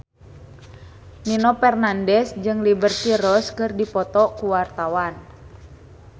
Nino Fernandez jeung Liberty Ross keur dipoto ku wartawan